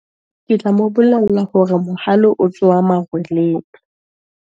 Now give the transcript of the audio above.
Ke tla mobolella hore mohale o tsoha marweleng.